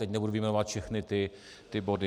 Teď nebudu vyjmenovávat všechny ty body.